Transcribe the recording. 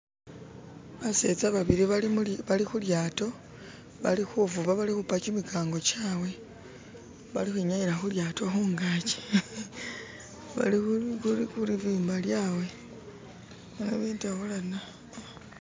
Baseza babili bali mu bali ku lyaato balikuvuba balikukuba gimigango gyawe balikwinyayila ku lyaato kungaji bali kulibumba lyawe bali kutabulana.